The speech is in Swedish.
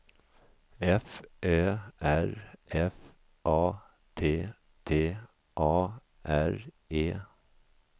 F Ö R F A T T A R E